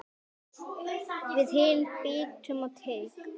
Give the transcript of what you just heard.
Við hinir biðum á teig.